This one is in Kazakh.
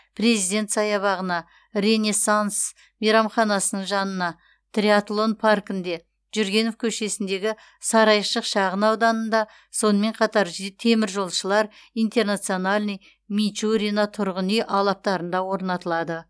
президент саябағына ренессанс мейрамханасының жанына триатлон паркінде жүргенов көшесіндегі сарайшық шағын ауданында сонымен қатар теміржолшылар интернациональный мичурино тұрғын үй алаптарында орнатылады